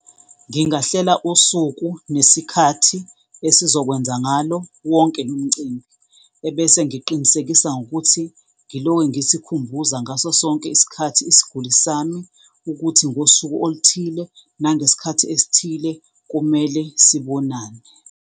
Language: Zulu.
Ngingahlela usuku nesikhathi esizokwenza ngalo wonke lo mcimbi, ebese ngiqinisekisa ngokuthi ngiloke ngisikhumbula ngaso sonke isikhathi isiguli sami, ukuthi ngosuku oluthile nangesikhathi esithile kumele sibonane.